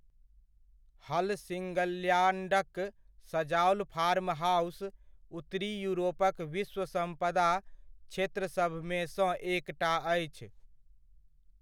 हलसिङ्गल्याण्डक सजाओल फार्महाउस उत्तरी युरोपक विश्व सम्पदा क्षेत्रसभमेसँ एकटा अछि।